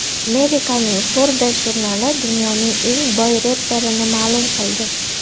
Amerikaning Forbes jurnali dunyoning eng boy reperini ma’lum qildi.